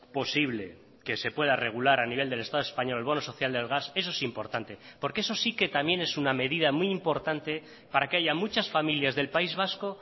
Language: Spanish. posible que se pueda regular a nivel del estado español el bono social del gas eso es importante porque eso sí que también es una medida muy importante para que haya muchas familias del país vasco